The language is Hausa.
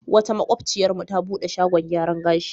Wata maƙociyarmu ta buɗe shagon gyaran gashi.